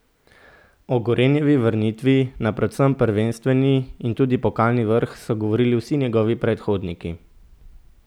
O Gorenjevi vrnitvi na predvsem prvenstveni in tudi pokalni vrh so govorili vsi njegovi predhodniki.